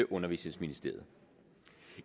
undervisningsministeriet